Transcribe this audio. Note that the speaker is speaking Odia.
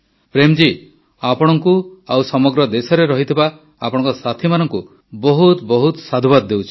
ପ୍ରେମ୍ ଜୀ ଆପଣଙ୍କୁ ଆଉ ସମଗ୍ର ଦେଶରେ ଥିବା ଆପଣଙ୍କ ସାଥୀମାନଙ୍କୁ ବହୁତ ବହୁତ ସାଧୁବାଦ ଦେଉଛି